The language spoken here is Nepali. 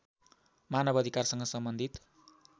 मानव अधिकारसँग सम्बन्धित